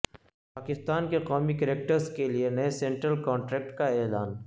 پاکستان کے قومی کرکٹرز کے لیے نئے سینٹرل کانٹریکٹ کا اعلان